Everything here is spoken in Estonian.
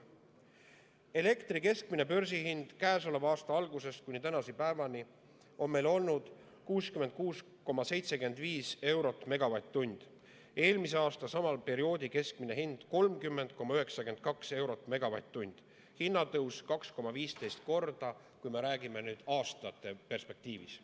" Elektri keskmine börsihind käesoleva aasta algusest kuni tänase päevani on meil olnud 66,75 eurot megavatt-tunni eest, eelmise aasta sama perioodi keskmine hind oli 30,92 eurot megavatt-tunni eest, hinnatõus 2,15 korda, kui me räägime aastate perspektiivis.